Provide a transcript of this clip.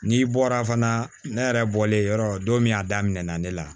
N'i bɔra fana ne yɛrɛ bɔlen yɔrɔ don min a daminɛna ne la